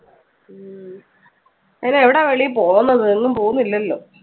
ഉം അയിന് എവിടാ വെളിയിൽ പോകുന്നത് എങ്ങും പോകുന്നില്ലല്ലോ.